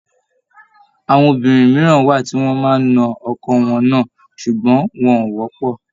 Àwọn obìnrin mìíràn wà tí wọ́n máa ń na ọkọ wọn náà, sùgbọ́n wọn ò wọ́pọ̀